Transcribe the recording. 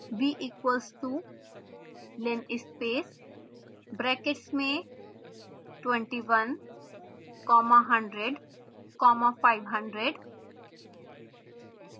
v equals to linspace brackets में 21 comma 100 comma 500